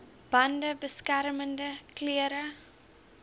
bande beskermende klere